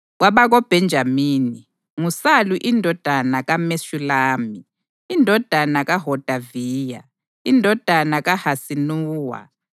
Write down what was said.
KwabakoBhenjamini: nguSalu indodana kaMeshulami, indodana kaHodaviya, indodana kaHasenuwa;